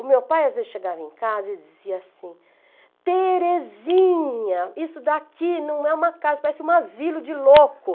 O meu pai às vezes chegava em casa e dizia assim, Terezinha, isso daqui não é uma casa, parece um asilo de louco.